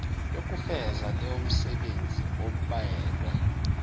yokufeza leyomisebenzi abelwe